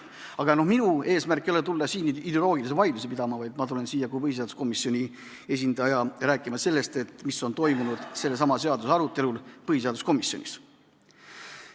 Aga minu eesmärk ei ole tulla siia ideoloogilisi vaidlusi pidama, vaid ma tulen siia kui põhiseaduskomisjoni esindaja rääkima sellest, mis on toimunud sellesama seaduseelnõu arutelu käigus põhiseaduskomisjonis.